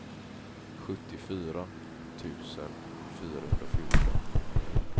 sjuttiofyra tusen fyrahundrafjorton